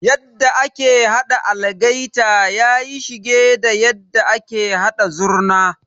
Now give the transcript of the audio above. Yadda ake haɗa algaita yayi shige da yadda ake haɗa Zurna.